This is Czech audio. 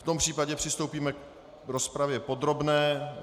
V tom případě přistoupíme k rozpravě podrobné.